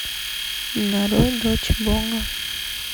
нарой дочь бога